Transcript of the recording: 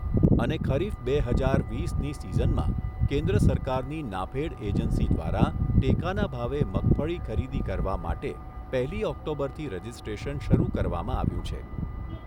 અને ખરીફ બે હજાર વીસની સીઝનમાં કેન્દ્ર સરકારની નાફેડ એજન્સી દ્વારા ટેકાના ભાવે મગફળી ખરીદી કરવા માટે પહેલી ઓક્ટોબરથી રજીસ્ટ્રેશન શરૂ કરવામાં આવ્યુ છે.